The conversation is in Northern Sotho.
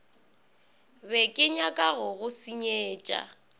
be kenyaka go go senyetša